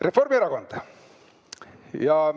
Reformierakond.